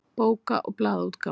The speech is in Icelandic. Bóka- og blaðaútgáfan.